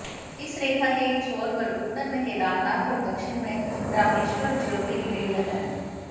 इस रेखा के एक छोर पर उत्तर में केदारनाथ और दक्षिण में रामेश्वरम् ज्योतिर्लिंग है